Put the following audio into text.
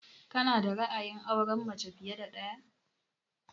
Ka na da ra'ayin aurenmace fiye da ɗaya?